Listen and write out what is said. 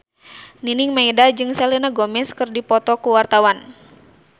Nining Meida jeung Selena Gomez keur dipoto ku wartawan